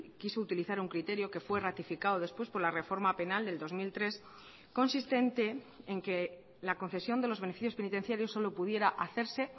quiso utilizar un criterio que fue ratificado después por la reforma penal del dos mil tres consistente en que la concesión de los beneficios penitenciarios solo pudiera hacerse